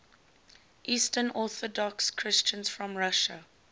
eastern orthodox christians from russia